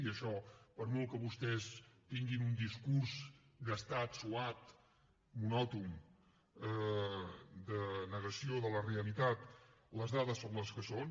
i això per molt que vostès tinguin un discurs gastat suat monòton de negació de la realitat les dades són les que són